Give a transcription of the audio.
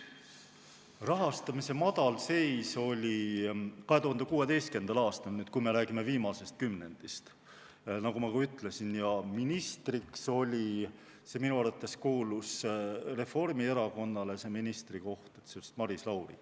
Rahastamise madalseis oli 2016. aastal, kui me räägime viimasest kümnendist, ja ministriks oli – minu arvates kuulus Reformierakonnale see ministrikoht – siis Maris Lauri.